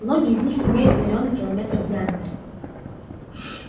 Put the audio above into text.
многие из них имеют миллионы километров в диаметре